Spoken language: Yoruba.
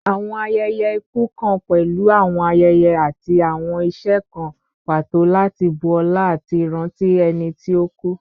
Awọn ayẹyẹ iku kan pẹlu awọn ayẹyẹ ati awọn iṣe kan pato lati bu ọla ati ranti ẹni ti o ku